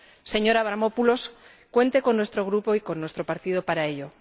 Señor Avramopoulos, cuente con nuestro Grupo y con nuestro partido para ello.